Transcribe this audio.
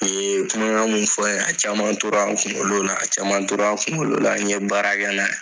Nin ye kumakan min fɔra yan a caman tora n kunkolo la caman tora kunkolo la n ye baara kɛ n'a ye.